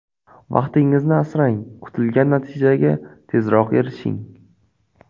Vaqtingizni asrang, kutilgan natijaga tezroq erishing.